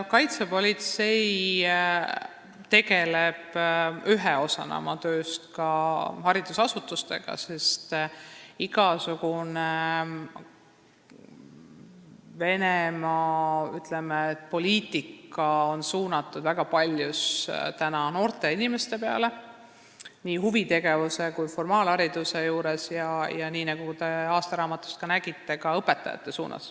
Kaitsepolitsei tegeleb ühe osana oma tööst ka haridusasutustega, sest, ütleme, igasugune Venemaa poliitika on väga paljus suunatud täna noortele inimestele, silmas peetakse nii huvitegevust kui ka formaalharidust, ja nagu te aastaraamatust nägite, ka õpetajatele.